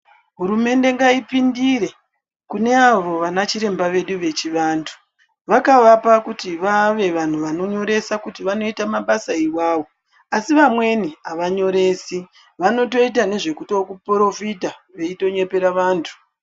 Hurumende ngaipindire kune avo vanachiremba vedu vechivantu. Vakavapa kuti vave vanhu vanonyoresa kuti vanoita mabasa iwawo, asi vamweni havanyoresi. Vanotoita nezvekuto porofita veitonyepera vantu.